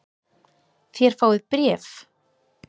Þér fáið bréf!